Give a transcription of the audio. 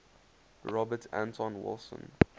robert anton wilson